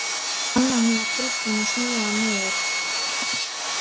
Hún fann að hún var tilbúin að snúa hann niður.